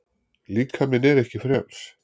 Líkaminn er ekki frjáls.